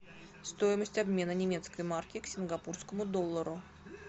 стоимость обмена немецкой марки к сингапурскому доллару